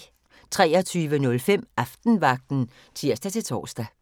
23:05: Aftenvagten (tir-tor)